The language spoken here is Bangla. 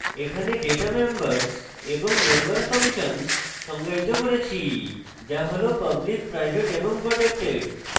এখানে data members এবং member functions সংজ্ঞায়িত করেছি যা হল public private এবং protected